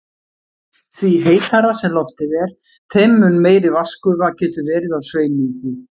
Því heitara sem loftið er, þeim mun meiri vatnsgufa getur verið á sveimi í því.